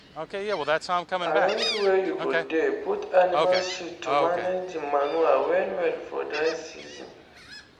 arrange wey u go dey put animal shit to manage d manure well well for dry season